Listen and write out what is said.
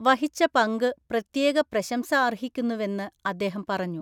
വഹിച്ച പങ്ക് പ്രത്യേക പ്രശംസ അർഹിക്കുന്നുവെന്ന് അദ്ദേഹം പറഞ്ഞു.